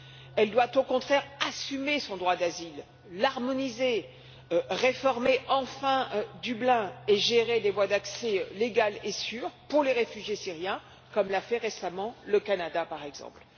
Elle doit au contraire assumer son droit d'asile, l'harmoniser, réformer enfin Dublin et gérer des voies d'accès légales et sûres pour les réfugiés syriens, comme l'a fait récemment le Canada, par exemple.